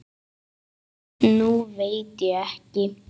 Nú veit ég ekki.